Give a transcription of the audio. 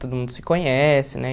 Todo mundo se conhece, né?